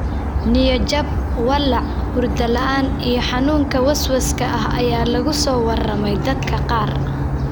Niyad-jab, walaac, hurdo la'aan iyo xanuunka waswaaska ah ayaa lagu soo warramey dadka qaar.